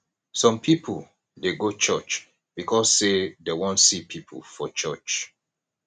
some people de go church because say dem won see pipo for church